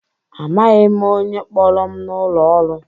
Amaghị m onye kpọrọ m n'ụlọ ọrụ.